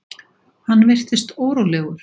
Hann virtist órólegur.